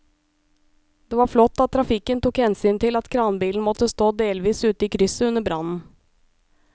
Det var flott at trafikken tok hensyn til at kranbilen måtte stå delvis ute i krysset under brannen.